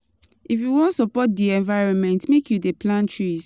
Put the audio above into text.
If you wan support di environment, make you dey plant trees.